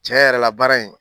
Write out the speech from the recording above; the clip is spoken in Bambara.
Cɛ yɛrɛ la baara in